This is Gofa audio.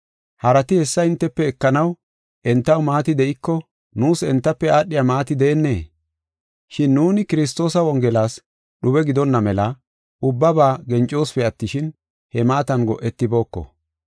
Harati hessa hintefe ekanaw entaw maati de7iko, nuus entafe aadhiya maati deennee? Shin nuuni Kiristoosa wongelas dhube gidonna mela, ubbaba gencosipe attishin, he maatan go7etibooko.